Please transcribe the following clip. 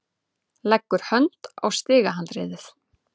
Leggur hönd á stigahandriðið.